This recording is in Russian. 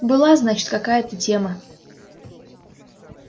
была значит какая-то тема